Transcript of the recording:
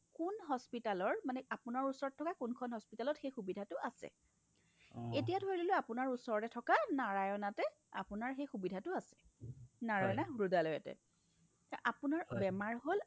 কোন hospitalৰ মানে আপোনাৰ ওচৰত থকা কোনখন hospitalত সুবিধাটো আছে এতিয়া ধৰি ললো ওচৰতে থকা narayana তে আপোনাৰ সেই সুবিধাটো আছে নাৰায়ণ হ্ৰুদয়লায়তে আপোনাৰ বেমাৰ হ'ল